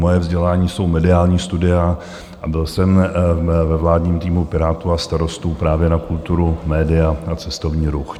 Moje vzdělání jsou mediální studia a byl jsem ve vládním týmu Pirátů a Starostů právě na kulturu, média a cestovní ruch.